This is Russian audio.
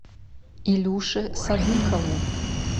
илюше садыкову